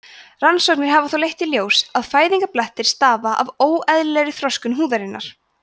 rannsóknir hafa þó leitt í ljós að fæðingarblettir stafa af óeðlilegri þroskun húðarinnar